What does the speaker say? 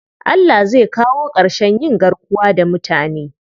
Allah zai kawo ƙarshen yin garkuwa da mutane.